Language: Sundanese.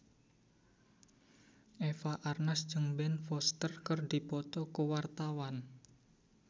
Eva Arnaz jeung Ben Foster keur dipoto ku wartawan